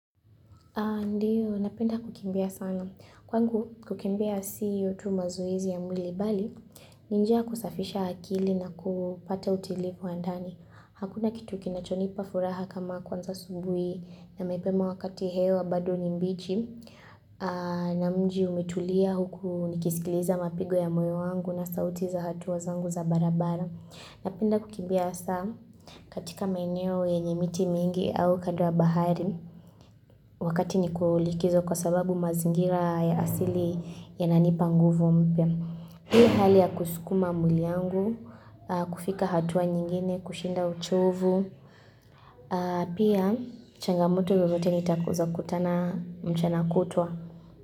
Ndiyo, napenda kukimbia sana. Kwangu, kukimbia siyo tu mazoezi ya mwili bali, ni njia kusafisha akili na kupata utulivu wa ndani. Hakuna kitu kinachonipa furaha kama kuanza asubuhi na mapema wakati hewa bado ni mbichi na mji umetulia huku nikisikiliza mapigo ya moyo wangu na sauti za hatua zangu za barabara. Napenda kukimbia hasa katika maeneo yenye miti mingi au kando ya bahari wakati niko likizo kwa sababu mazingira ya asili yananipa nguvu mpya. Hii hali ya kusukuma mwili wangu, kufika hatua nyingine, kushinda uchovu. Pia, changamoto lolote nitakoza kutana mchana kutwa.